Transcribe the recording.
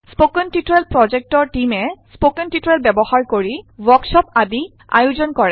spoken tutorial project টীমে spoken tutorial ব্যৱহাৰ কৰি ৱৰ্কশ্বপৰ আয়োজন কৰে